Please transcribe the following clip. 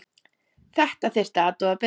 Þetta þurfti að athuga betur.